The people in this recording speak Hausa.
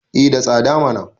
eh da tsada mana